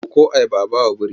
Ɗauko ayaba a ba wa biri!